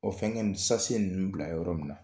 O fɛŋɛ nin sasiye ninnu bila yɔrɔ min na